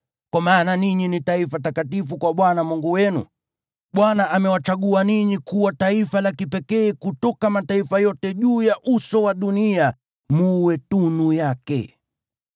kwa maana ninyi ni taifa takatifu kwa Bwana Mungu wenu. Bwana amewachagua ninyi kuwa taifa la kipekee kutoka mataifa yote juu ya uso wa dunia, mwe tunu yake.